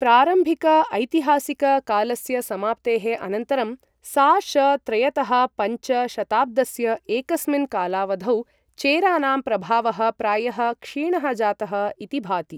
प्रारम्भिक ऐतिहासिक कालस्य समाप्तेः अनन्तरं, सा.श. त्रयतः पञ्च शताब्दस्य एकस्मिन् कालावधौ, चेरानां प्रभावः प्रायः क्षीणः जातः इति भाति